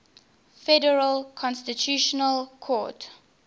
federal constitutional court